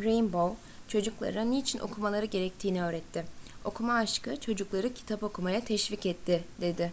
rainbow çocuklara niçin okumaları gerektiğini öğretti. okuma aşkı çocukları kitap okumaya teşvik etti. dedi